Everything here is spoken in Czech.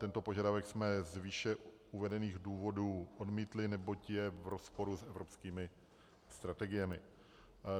Tento požadavek jsme z výše uvedených důvodů odmítli, neboť je v rozporu s evropskými strategiemi.